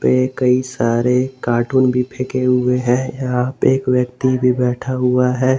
ये कई सारे कार्टून भी फेंका हुए हैं यहां पे एक व्यक्ति भी बैठा हुआ है।